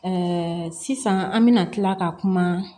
sisan an bɛna tila ka kuma